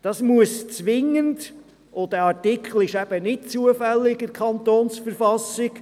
Dieser Artikel steht nun nicht zufällig in der KV.